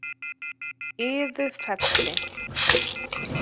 Iðufelli